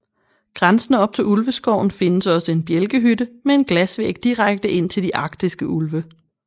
Grænsende op til Ulveskoven findes også en bjælkehytte med en glasvæg direkte ind til de arktiske ulve